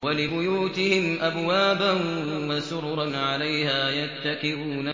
وَلِبُيُوتِهِمْ أَبْوَابًا وَسُرُرًا عَلَيْهَا يَتَّكِئُونَ